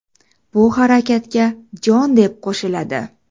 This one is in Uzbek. Bu harakatga jon, deb qo‘shiladi.